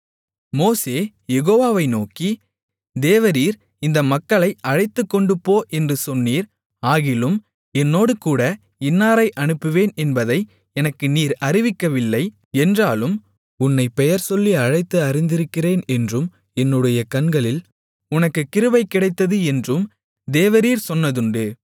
மோசே யெகோவாவை நோக்கி தேவரீர் இந்த மக்களை அழைத்துக்கொண்டுபோ என்று சொன்னீர் ஆகிலும் என்னோடுகூட இன்னாரை அனுப்புவேன் என்பதை எனக்கு நீர் அறிவிக்கவில்லை என்றாலும் உன்னைப் பெயர்சொல்லி அழைத்து அறிந்திருக்கிறேன் என்றும் என்னுடைய கண்களில் உனக்குக் கிருபை கிடைத்தது என்றும் தேவரீர் சொன்னதுண்டு